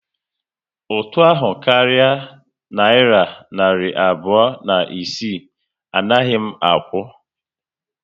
Ụtụ ahụ karịa nayira narị abụọ na isii, anaghị m akwụ